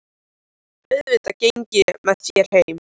Auðvitað geng ég með þér heim